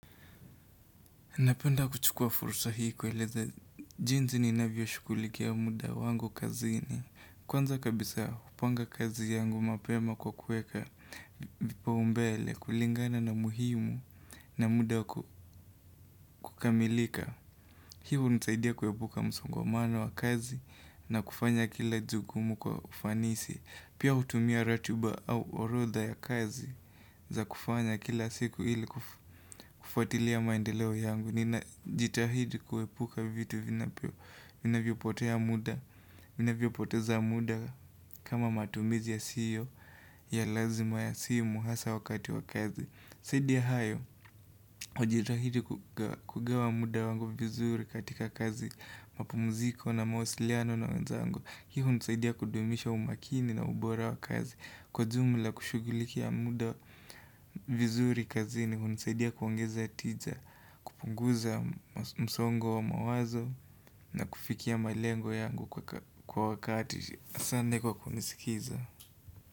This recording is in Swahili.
Napenda kuchukua fursa hii kueleza jensi ninavyo shughulikia muda wangu kazini. Kwanza kabisa hupanga kazi yangu mapema kwa kuweka vipaombele kulingana na umuhimu na muda kukamilika. Hivo hunisaidia kuhepuka msongamano wa kazi na kufanya kila jukumu kwa ufanisi. Pia hutumia ratuba au horodha ya kazi za kufanya kila siku ili kufuatilia maendeleo yangu. Ninajitahidi kuhepuka vitu vinavyo poteza muda kama matumizi ya sio ya lazima ya simu hasa wakati wa kazi zaidi ya hayo, hujitahidi kugawa muda wangu vizuri katika kazi mapumziko na mawasiliano na wenzangu hiyo hunisaidia kudumisha umakini na ubora wa kazi Kwa jumla kushugulikia muda vizuri kazini hunisaidia kuongeza tiza kupunguza msongo wa mawazo na kufikia malengo yangu kwa wakati asante kwa kunisikiza.